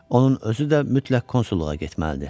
Onun özü də mütləq konsulluğa getməlidir.